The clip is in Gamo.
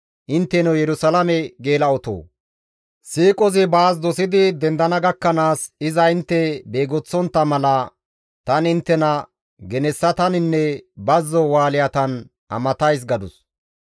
Intteno Yerusalaame geela7otoo! Siiqozi baas dosidi dendana gakkanaas, iza intte beegoththontta mala, tani inttena genessataninne bazzo Wushatan amatays» gadus.